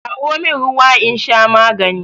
Kawo min ruwa in sha magani